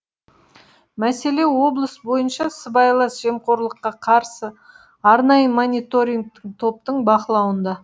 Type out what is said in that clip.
мәселе облыс бойынша сыбайлас жемқорлыққа қарсы арнайы мониторингтік топтың бақылауында